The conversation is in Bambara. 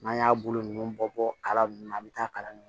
N'an y'a bolo ninnu bɔ kala nunnu na an bɛ taa kalan kɛ